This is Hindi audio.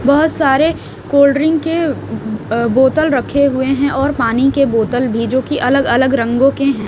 बहुत सारे कोल्ड्रिंक के अ बोतल रखे हुए हैं और पानी के बोतल भी जो कि अलग अलग रंगों के हैं।